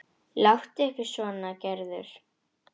Láttu ekki svona Gerður.